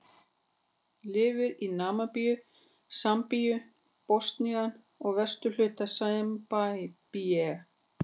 Lifir í Namibíu, Sambíu, Botsvana og vesturhluta Simbabve.